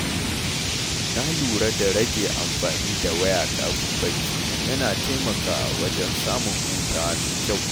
Na lura da rage amfani da waya kafin barci, yana taimakawa wajen samun hutawa mai kyau.